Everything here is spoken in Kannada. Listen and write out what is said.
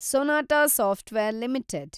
Sonata software limited